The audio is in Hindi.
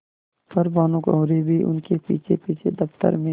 पर भानुकुँवरि भी उनके पीछेपीछे दफ्तर में